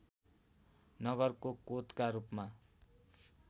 नगरको कोतका रूपमा